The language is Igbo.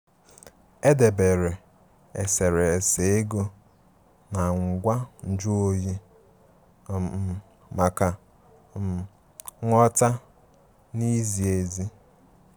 Edebèré eserésé égò na ngwá nju oyi um maka um nghọ̀ta na ìzí ezi.